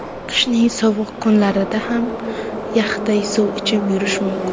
Qishning sovuq kunlarida ham yaxday suv ichib yurish mumkin.